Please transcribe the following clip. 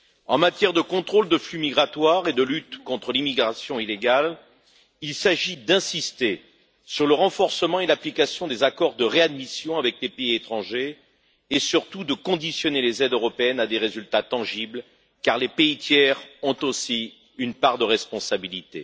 En matière de contrôle de flux migratoires et de lutte contre l'immigration illégale, il s'agit d'insister sur le renforcement et l'application des accords de réadmission avec des pays étrangers et, surtout, de conditionner les aides européennes à des résultats tangibles, car les pays tiers ont aussi une part de responsabilité.